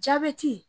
Jabɛti